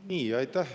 Aitäh!